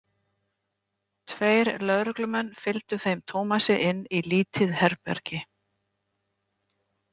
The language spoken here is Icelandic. Tveir lögreglumenn fylgdu þeim Tómasi inn í lítið herbergi.